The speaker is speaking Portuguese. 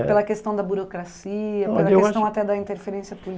Pela questão da burocracia, pela questão até da interferência